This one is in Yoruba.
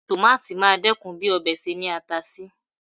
Tòmáátì máa dẹ́kun bí ọbẹ̀ ṣe ní ata sí.